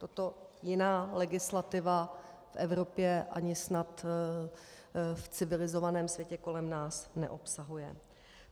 Toto jiná legislativa v Evropě ani snad v civilizovaném světě kolem nás neobsahuje.